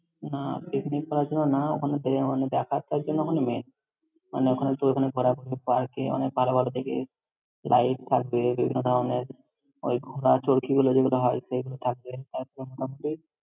না picnic করার জন্য না, ওখানে গিয়ে মানে দেখা জন্য ওখানে main । মানে ওখানে তুই ওখানে ঘোরাঘুরি park এ অনেক ভালো ভালো দেখে light থাকবে, বিভিন্ন ধরনের ওই ঘোড়া চড়কিগুলো যেগুলো হয়, সেগুলো থাকবে আর তো মোটামুটি ।